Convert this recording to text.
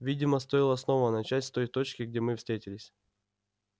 видимо стоило снова начать с той точки где мы встретились